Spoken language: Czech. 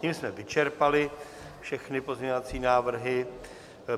Tím jsme vyčerpali všechny pozměňovací návrhy.